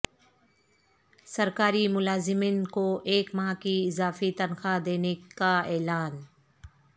سرکاری ملازمین کو ایک ماہ کی اضافی تنخواہ دینے کا اعلان